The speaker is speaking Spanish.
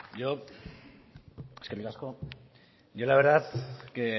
eskerrik asko yo la verdad que